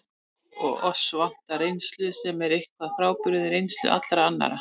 Og oss vantar reynslu, sem er eitthvað frábrugðin reynslu allra annarra.